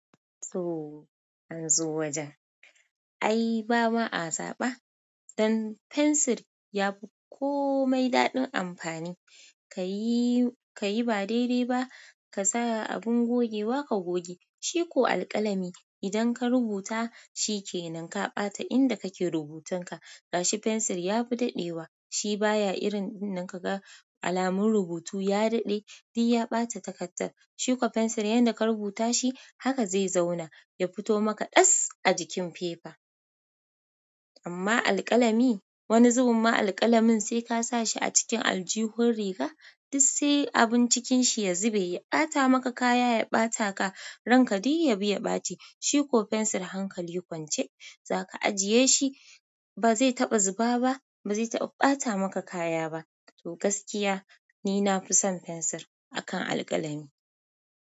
To, an zo wajen. Ai ba ma a zaba? Dan fensir ya fi komai daɗin amfani. Ka yi, ka yi ba dai-dai ba, ka sa abin gogewa ka goge, shi ko alƙalami idan ka rubuta shi ke nan ka ɓata inda kake rubutanka. Gashi fensir ya fi daɗewa, shi baya irin dinnan kaga alamar rubutu ya daɗe, duk ya ɓata takardar. Shi ko fensir yanda ka rubuta shi haka zai zauma, ya fito maka ɗas a jikin fefa. Amma alƙalami, wani zubun ma alƙalamin sai ka sa shi a cikin aljihun riga, duk sai abun cikin shi ya zube, ya ɓata maka kaya, ya ɓata ka, ranka duk yabi ya ɓaci. Shi ko fensir hankali kwance, za ka ajiye shi ba zai taɓa zuba ba, ba zai taɓa ɓata maka kaya ba. To gaskiya ni na fi son fensir akan alƙalami.